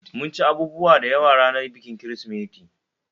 Mun ci abubuwa dayawa ranar bikin Kirsimeti